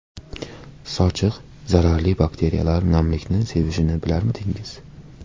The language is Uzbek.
Sochiq Zararli bakteriyalar namlikni sevishini bilarmidingiz?